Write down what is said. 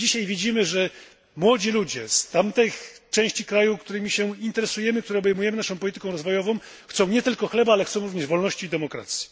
Dzisiaj widzimy, że młodzi ludzie z tamtych części świata, którymi się interesujemy, które są objęte naszą polityką rozwojową, chcą nie tylko chleba, ale również wolności i demokracji.